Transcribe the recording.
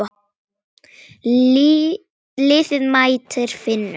Liðið mætir Finnum.